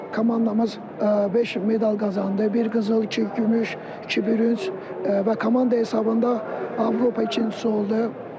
Komandamız beş medal qazandı, bir qızıl, iki gümüş, iki bürünc və komanda hesabında Avropa ikincisi oldu.